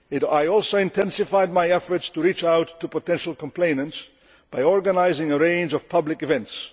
I also intensified my efforts to reach out to potential complainants by organising a range of public events